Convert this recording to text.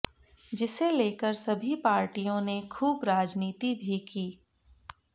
जिसे लेकर सभी पार्टियों ने खूब राजनीति भी की